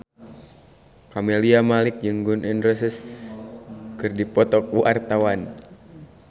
Camelia Malik jeung Gun N Roses keur dipoto ku wartawan